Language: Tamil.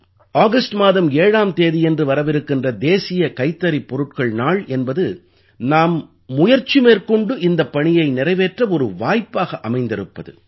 ஆகஸ்ட் மாதம் 7ஆம் தேதியன்று வரவிருக்கின்ற தேசிய கைத்தறிப் பொருட்கள் நாள் என்பது நாம் முயற்சி மேற்கொண்டு இந்தப் பணியை நிறைவேற்ற ஒரு வாய்ப்பாக அமைந்திருப்பது